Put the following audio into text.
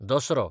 Dussehra